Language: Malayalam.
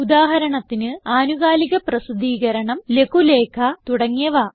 ഉദാഹരണത്തിന് ആനുകാലികപ്രസിദ്ധീകരണം ലഘുലേഖ തുടങ്ങിയവ